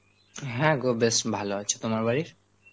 হ্যাঁ গো বেশ ভালো আছে, তোমার বাড়ির?